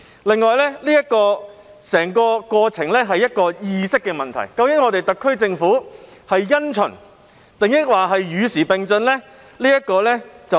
另外，整個過程涉及意識的問題，即究竟特區政府是因循，抑或是與時並進呢？